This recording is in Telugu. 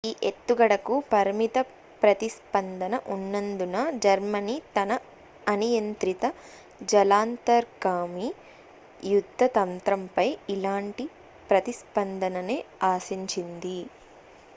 ఈ ఎత్తుగడకు పరిమిత ప్రతిస్పందన ఉన్నందున జర్మనీ తన అనియంత్రిత జలాంతర్గామి యుద్ధ తంత్రంపై ఇలాంటి ప్రతిస్పందననే ఆశించింది